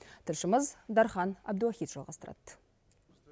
тілшіміз дархан әбдуахит жалғастырады